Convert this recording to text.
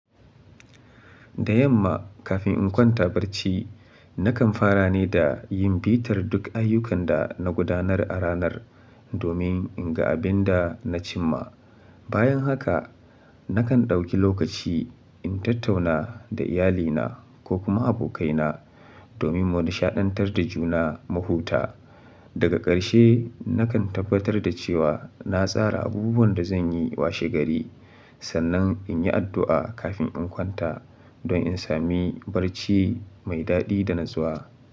Da yamma kafin in kwanta barci, nakan fara ne da yin bitar duk ayyukan da na gudanar a ranar domin in ga abin da na cim ma. Bayan haka, nakan ɗauki lokaci in tattauna da iyalina ko kuma abokaina domin mu nishaɗantar da juna mahuta. Daga ƙarshe nakan tabbatar da cewa na tsara abubuwan da zan yi washegari. Sannan in yi addu'a kafin in kwanta don in sami barci mai daɗi da natsuwa.